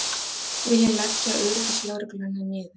Vilja leggja öryggislögregluna niður